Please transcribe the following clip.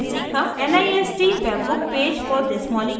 nist webbook page for this molecule